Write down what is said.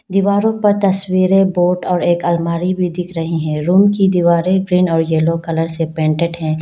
दीवारों पर तस्वीरें बोर्ड और एक अलमारी भी दिख रही है रूम की दीवारें ग्रीन और येलो कलर से पेंटेड है।